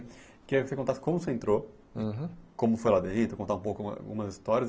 Eu queria que você contasse como você entrou, Uhum Como foi lá dentro, contar um pouco algumas histórias.